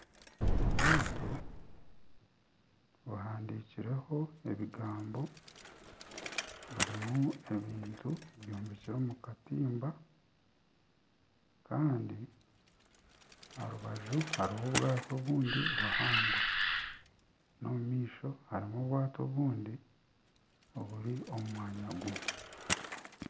Obwato buhandikirweho ebigambo burimu ebintu bihanikire omu katimba Kandi aha rubaju hariho obwato obundi buhango n'omu maisho harimu obwato obundi oburi omu mwanya gumwe.